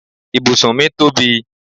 Ibùsùn mi tóbi